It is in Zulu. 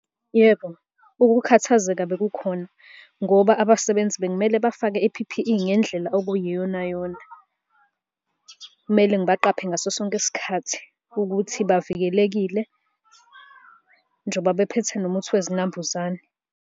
Yebo, ukukhathazeka beku khona ngoba abasebenzi bekumele bafake i-P_P_E ngendlela okuyiyonayona. Kumele ngibaqaphe ngaso sonke isikhathi, ukuthi bavikelekile njoba bephethe nomuthi wezinambuzane.